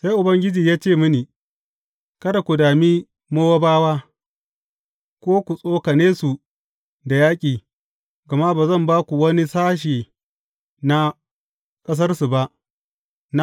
Sai Ubangiji ya ce mini, Kada ku dami Mowabawa, ko ku tsokane su da yaƙi, gama ba zan ba ku wani sashe na ƙasarsu ba.